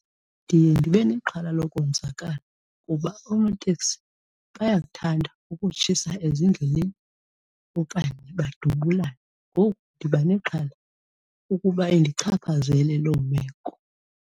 Ndiye ndibe nexhala lokonzakala kuba oonoteksi bayakuthanda ukutshisa ezindleleni okanye badubulane, ngoku ndiba nexhala ukuba indichaphazele loo meko.